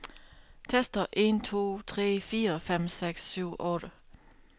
Tester en to tre fire fem seks syv otte.